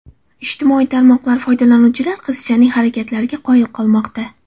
Ijtimoiy tarmoqlar foydalanuvchilar qizchaning harakatlariga qoyil bo‘lmoqda.